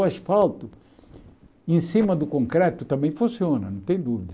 O asfalto em cima do concreto também funciona, não tem dúvida.